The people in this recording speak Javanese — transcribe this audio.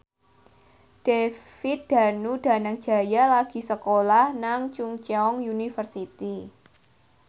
David Danu Danangjaya lagi sekolah nang Chungceong University